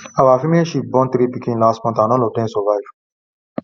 our female sheep born three pikin last month and all of dem survive